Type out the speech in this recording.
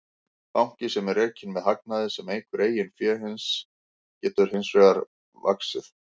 Banki sem er rekinn með hagnaði sem eykur eigin fé hans getur hins vegar vaxið.